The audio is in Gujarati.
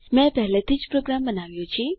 મેં પહેલેથી જ પ્રોગ્રામ બનાવ્યો છે